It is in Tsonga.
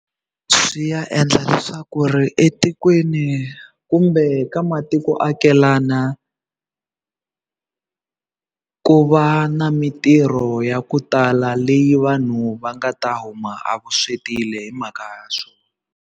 Swi ya endla leswaku ri etikweni kumbe ka matikoakelana ku va na mitirho ya ku tala leyi vanhu va nga ta huma a hi mhaka ya swona.